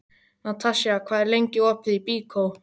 Natasja, hvað er lengi opið í Byko?